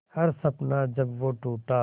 हर सपना जब वो टूटा